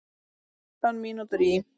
Fimmtán mínútur í